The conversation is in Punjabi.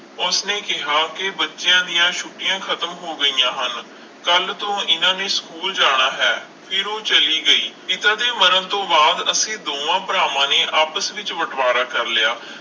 ਉਸਨੇ ਕਿਹਾ ਕਿ ਬੱਚਿਆਂ ਦੀਆਂ ਛੁੱਟੀਆਂ ਖਤਮ ਹੋ ਗਈਆਂ ਹਨ ਕੱਲ੍ਹ ਤੋਂ ਇਹਨਾਂ ਨੇ ਸਕੂਲ ਜਾਣਾ ਹੈ ਫਿਰ ਉਹ ਚਲੀ ਗਈ, ਪਿਤਾ ਦੇ ਮਰਨ ਤੋਂ ਬਾਅਦ ਅਸੀਂ ਦੋਹਾਂ ਭਰਾਵਾਂ ਨੇ ਆਪਸ ਵਿੱਚ ਬਟਵਾਰਾ ਕਰ ਲਿਆ,